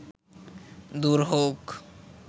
দূর হউক